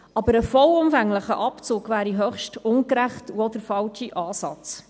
Doch ein voller Abzug wäre höchst ungerecht und auch der falsche Ansatz.